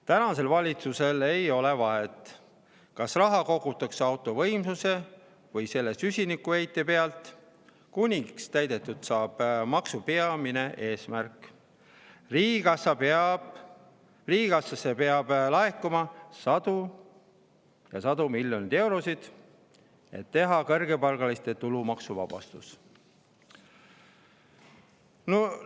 Tänasel valitsusel ei ole vahet, kas raha kogutakse auto võimsuse või selle süsinikuheite pealt, kuniks täidetud saab maksu peamine eesmärk: riigikassasse peab laekuma sadu ja sadu miljoneid eurosid, et teha kõrgepalgalistele tulumaksu.